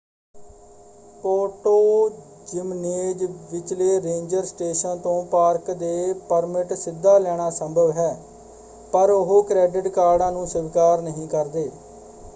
Puerto Jimenez ਵਿਚਲੇ ranger station ਤੋਂ park ਦੇ ਪਰਮਿਟ ਸਿੱਧਾ ਲੈਣਾ ਸੰਭਵ ਹੈ ਪਰ ਉਹ ਕ੍ਰੈਡਿਟ ਕਾਰਡਾਂ ਨੂੰ ਸਵੀਕਾਰ ਨਹੀਂ ਕਰਦੇ।